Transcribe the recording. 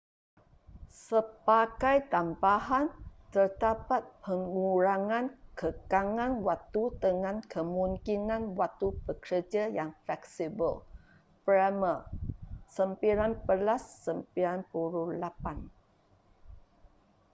sebagai tambahan terdapat pengurangan kekangan waktu dengan kemungkinan waktu bekerja yang fleksibel. bremer 1998